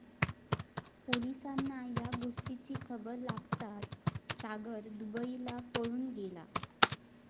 पोलिसांना या गोष्टीची खबर लागताच सागर दुबईला पळून गेला.